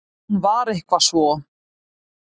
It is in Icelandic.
Hún var eitthvað svo.